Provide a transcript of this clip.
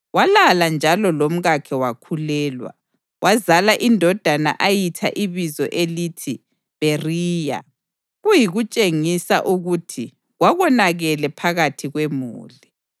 Walala njalo lomkakhe wakhulelwa, wazala indodana ayitha ibizo elithi Bheriya, kuyikutshengisa ukuthi kwakonakele phakathi kwemuli.